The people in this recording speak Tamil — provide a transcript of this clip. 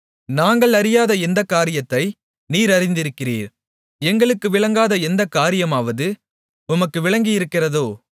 நாங்கள் அறியாத எந்தக் காரியத்தை நீர் அறிந்திருக்கிறீர் எங்களுக்கு விளங்காத எந்தக் காரியமாவது உமக்கு விளங்கியிருக்கிறதோ